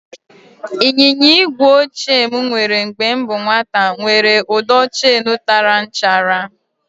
Ịnyịnya igwe ochie m nwere mgbe m bụ nwata nwèrè ụdọ cheenu tara nchara